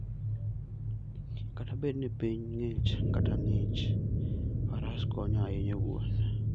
Kata bed ni piny ng'ich kata ng'ich, Faras konyo ahinya e wuoth.